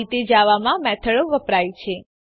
આ રીતે જાવામાં મેથડો વપરાય છે